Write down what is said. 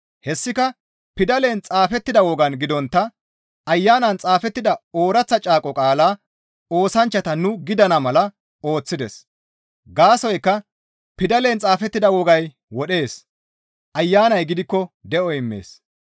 Hessika pidalen xaafettida wogan gidontta Ayanan xaafida ooraththa caaqo qaala oosanchchata nu gidana mala ooththides; gaasoykka pidalen xaafettida wogay wodhees; Ayanay gidikko de7o immees.